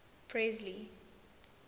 presley